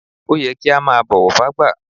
Ọ́ yẹ kí a máa bọ́wọ̀ fágbà.